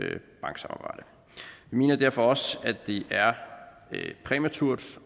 mener derfor også at det er præmaturt